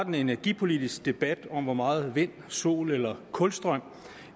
en energipolitisk debat om hvor meget vind sol eller kulstrøm